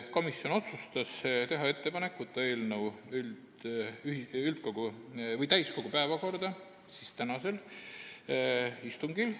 Komisjon otsustas teha ettepaneku saata eelnõu täiskogu päevakorda tänaseks istungiks.